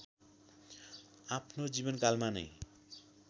आफ्नो जीवनकालमा नैं